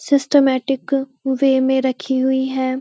Systematic way में रखी हुई है।